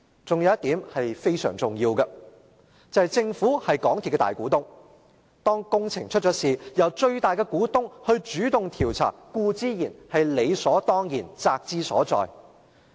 還有一點是非常重要的，便是政府是港鐵公司的大股東，當有工程事故發生，由最大的股東主動調查固然是理所當然，責之所在。